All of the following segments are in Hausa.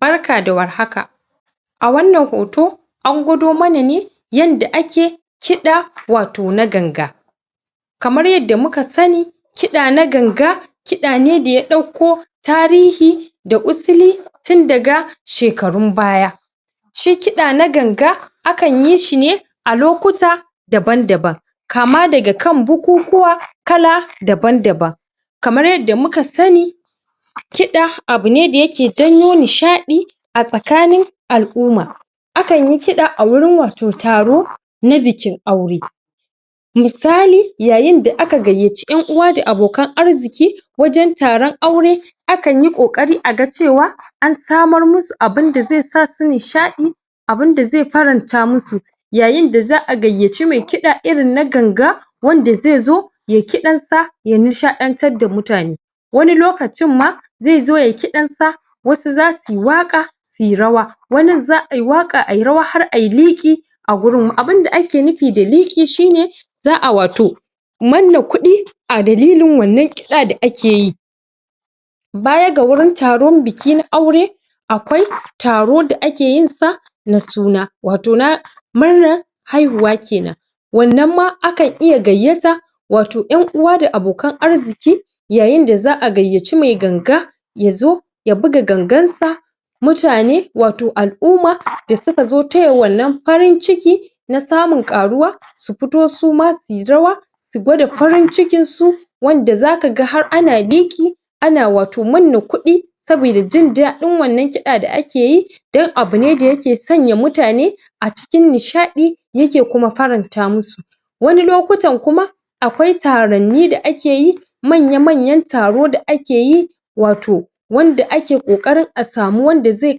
Barka da warhaka a wannan hoto an gwado mana ne yanda ake kiɗa wato na ganga kamar yanda muka sani kiɗa na ganga kiɗa ne da ya ɗauko tarihi da usuli tun daga shekarun baya shi kiɓa na ganga akan yishi ne a lokuta daban-daban kama daga kan bukukuwa kala daban_daban kamar yanda muka sani kiɗa abune da yake janyo nishaɗi a tsakanin al'umma akanyi kiɗa a wurin wato taro na bikin aure misali yayinda aka gayyaci ƴan'uwa da abokan arziki wajen taron aure akanyi ƙoƙari a ga cewa an samar musu abinda zai sa su nishaɗi abinda zai faranta musu yayinda za a gayyaci mai kiɗa irin na ganga wanda ai zo yayi kiɗansa ya nishaɗantar da mutane wani lokacin ma zaizo yayi kiɗansa wasu za su waƙa suyi rawa wanin za ayi waƙa ayi rawa har ayi liƙi a wurin abinda ake nufi da liƙi shine za a wato manna kuɗi a dalilin wannan kiɗa da akeyi baya ga wurin taron biki na aure akwai taro da akeyinsa na suna wato na murnar aihuwa kenan wannan ma akan iya gayyata wato ƴan uwa da abokan arziki yayin da za a gayyaci mai ganga ya zo ya buga gangansa mutane wato al'uma da suka zo taya wannan farinciki na samun ƙaruwa su fito su ma su yi rawa su gwada afarincikin su wanda zaka ga har ana liƙi ana wato manna kuɗi saboda jin daɗin wanna kiɗa da akeyi dan abu ne da yake sanya mutane a cikin nishaɗi yake kuma faranta musu wani lokutan kuma akwai taranni da ake yi manya-manyan taro da akeyi wato wanda ake ƙoƙarin a samu wanda zai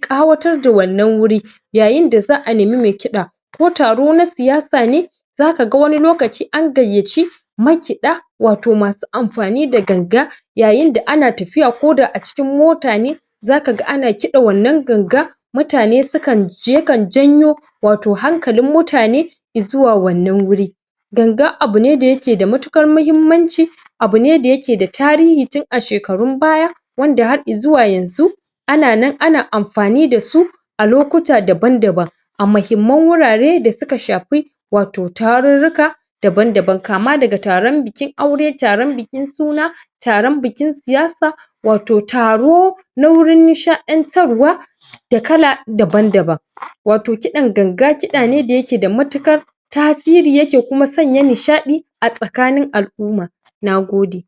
ƙawatar da wannan wuri yyinda za nemi mai kiɗa ko taro na siyasa ne akaga wani lokaci an gayyaci makiɗa ato masu amfani da ganga yayinda ana tafiya koda a cikin mota ne zakaga ana kiɗa wannan ganga mutane sukan yakan janyo wato hankalin mutane izuwa wannan wuri ganga abu ne da yake da matuƙar mahimmanci abu ne da yake da tarihi tun a shekarun baya wanda ha izuwa yanzu ananan ana amfani dasu a lokuta daban-daban a mahimman wurare da suka shafi wato tarurruka daban-daban kama daga taron biki aue taron bikin suna taron bikin siyasa wato taro na wurin nishaɗantarwa da kala dabn-daban wato kiɗan ganga kiɗa ne da yake da matuƙar tasiri yake kuma sanya nishaɗi a tsakanin al'umma na gode.